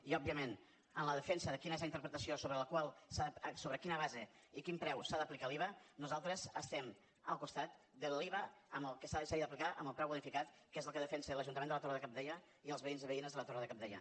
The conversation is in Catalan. i òbviament en la defensa de quina és la interpretació sobre quina base i quin preu s’ha d’aplicar l’iva nosaltres estem al costat que l’iva s’hagi d’aplicar en el preu bonificat que és el que defensen l’ajuntament de la torre de cabdella i els veïns i veïnes de la torre de cabdella